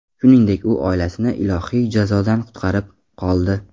Shuningdek, u oilasini ilohiy jazodan qutqarib qoldi”.